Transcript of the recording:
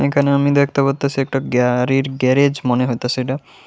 এখানে আমি দেখতে পারতাছি একটা গাআড়ির গ্যারেজ মনে হইতাছে এটা।